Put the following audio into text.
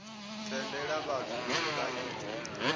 tendela vhathu uri vha ite